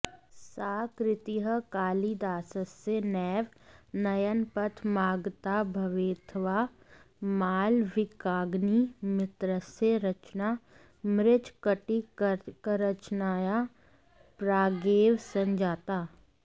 सा कृतिः कालिदासस्य नैव नयनपथमागता भवेदथवा मालविकाग्निमित्रस्य रचना मृच्छकटिकरचनाया प्रागेव सञ्जाता